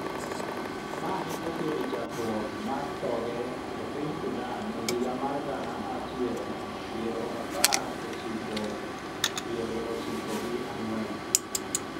mane okelo chakruok mar thoge a piny Sudan e higa mar gana achiel piero apar ochiko piero ochiko gi ang'wen